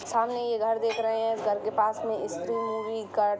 सामने ये घर देख रहे हैं घर के पास में स्त्री मूवी का--